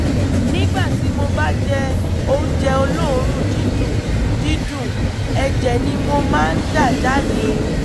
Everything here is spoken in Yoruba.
nígbà tí mo bá jẹ oúnjẹ olóòórùn dídùn dídùn ẹ̀jẹ̀ ni mo máa ń dà jáde